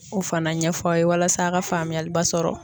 O fana ɲɛfɔ aw ye walasa a' ka faamuyaliba sɔrɔ.